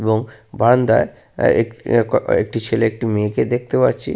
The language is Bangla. এবং বারান্দায় আহ এক এ ক ক একটি ছেলে একটি মেয়ে কে দেখতে পাচ্ছি।